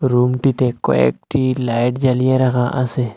Room -টিতে কয়েকটি light জ্বালিয়ে রাখা আসে।